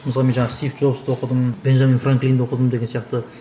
мысалы мен жаңа стив джобсты оқыдым бенжамин франклинді оқыдым деген сияқты